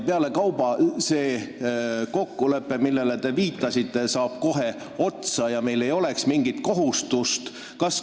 Pealekauba saab see kokkulepe, millele te viitasite, kohe otsa ja meil ei oleks mingit kohustust.